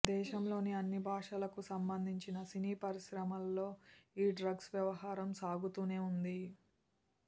దేశంలోని అన్ని భాషలకు సంబంధించిన సినీ పరిశ్రమల్లో ఈ డ్రగ్స్ వ్యవహారం సాగుతూనే వుంది